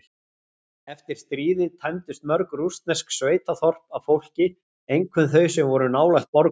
Eftir stríðið tæmdust mörg rússnesk sveitaþorp af fólki, einkum þau sem voru nálægt borgum.